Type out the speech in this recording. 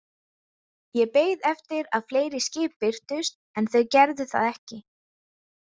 Ég beið eftir að fleiri skip birtust, en þau gerðu það ekki.